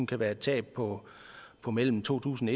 kan være et tab på på mellem to tusind